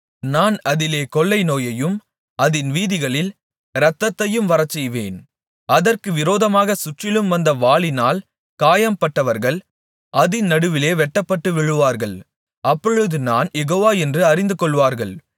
நான் அதிலே கொள்ளைநோயையும் அதின் வீதிகளில் இரத்தத்தையும் வரச்செய்வேன் அதற்கு விரோதமாகச் சுற்றிலும் வந்த வாளினால் காயம்பட்டவர்கள் அதின் நடுவிலே வெட்டப்பட்டு விழுவார்கள் அப்பொழுது நான் யெகோவா என்று அறிந்துகொள்வார்கள்